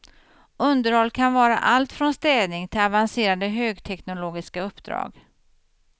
Underhåll kan vara allt från städning till avancerade högteknologiska uppdrag.